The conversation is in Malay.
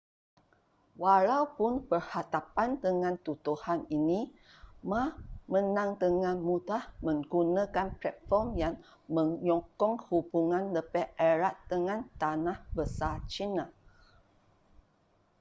walaupun berhadapan dengan tuduhan ini ma menang dengan mudah menggunakan platform yang menyokong hubungan lebih erat dengan tanah besar china